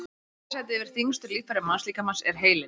í þriðja sæti yfir þyngstu líffæri mannslíkamans er heilinn